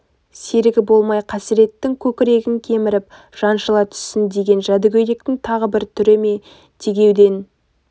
серігі болмай қасыреттің көкірегін кеміріп жаншыла түссін деген жәдігөйліктің тағы бір түрі ме тергеуден